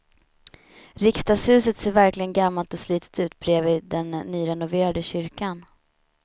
Riksdagshuset ser verkligen gammalt och slitet ut bredvid den nyrenoverade kyrkan.